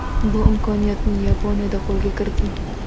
Bu imkoniyatni Yaponiyada qo‘lga kiriting!